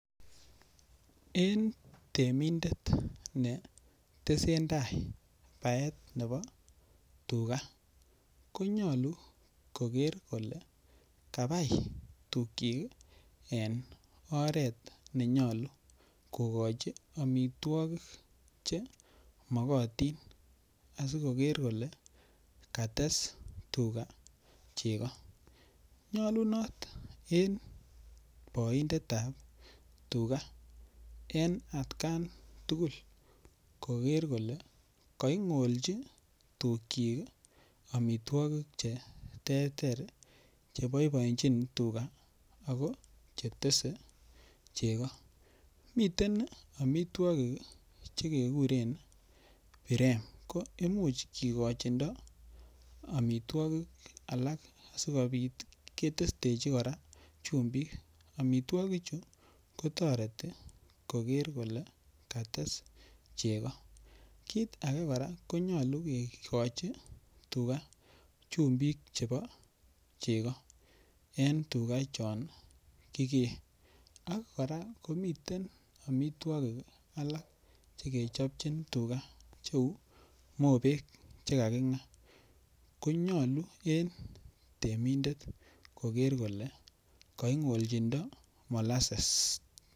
En temindet netesen tai baetab tuga konyolu koker kole kabai tukyik en oret nenyolu kokochi amitwokik chemokotin asikoker kole kates tuga cheko nyolun en boindetab tugak en at kan tugul koker kole kaing'olchi amitwokik tukyik cheterter cheboiboenjin tugak ako chetese cheko, miten amitwokik chekuren 'birem' ko imuch kikochindo amitwokik alak asikobit ketestechi kora chumbik, amitwogichu kotoreti koker kole kates cheko, kit ake kora konyolu kikochi tugak chumbik chepo cheko en tuga chon kikee ak miten amitwokik alak chekechopchin tugak cheu mobek chekaking'aa konyolu en temindet koker kole kaing'olnjindo molases.